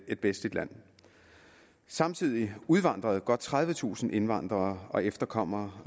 et vestligt land samtidig udvandrede godt tredivetusind indvandrere og efterkommere